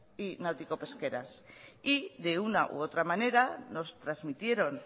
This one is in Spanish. y náutico pesqueras y de una u otra manera nos transmitieron